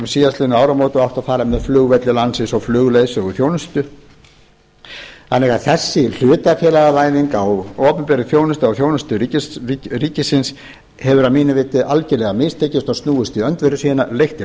síðastliðin áramót og átti að fara með flugvelli landsins og flugleiðsöguþjónustu þannig að þessi hlutafélagavæðing á opinberri þjónustu á þjónustu ríkisins hefur að mínu viti algjörlega mistekist og snúist í öndverðu sína leitt til